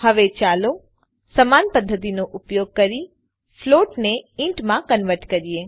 હવે ચાલો સમાન પદ્ધતિનો ઉપયોગ કરી ફ્લોટ ને ઇન્ટ માં કન્વર્ટ કરીએ